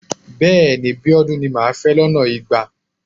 Bẹ́ẹ̀ni. Abíọ́dún ni màá fẹ́ lọ́nà igba.